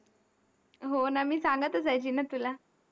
हो ना, मी सांगत असायची ना तुला.